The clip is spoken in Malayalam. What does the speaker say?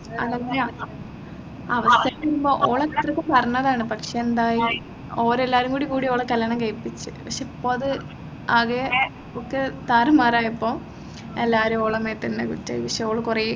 അതെന്നെ അവിടെ തന്നെ ഇപ്പോ ഓൾ എല്ലാർക്കും പറഞ്ഞതാണ് പക്ഷേ എന്തായി ഓർ എല്ലാരും കൂടി കൂടി അവളെ കല്യാണം കഴിയ്പ്പിച്ചു പക്ഷേ ഇപ്പോ അത് ആകെ ഓക്ക് താറുമാറായപ്പോ എല്ലാരും ഓളെ മേത്തന്നെ കുറ്റം ഓൾ കുറെ